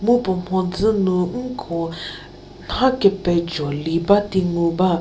mu puo mhodzü nu nko nha kepejo li ba di ngu ba.